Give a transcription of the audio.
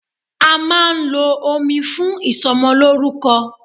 A máà ń lo omi fún ìsọmọlórúkọ.